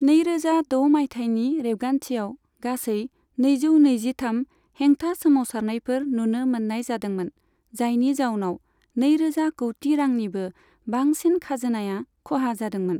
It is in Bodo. नैरोजा द' मायथाइनि रेबगान्थियाव गासै नैजौ नैजिथाम हेंथा सोमावसारनायफोर नुनो मोन्नाय जादोंमोन, जायनि जाउनाव नैरोजा कौटि रांनिबो बांसिन खाजोनाया खहा जादोंमोन।